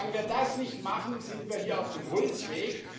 Solange wir das nicht machen, sind wir hier auf dem Holzweg.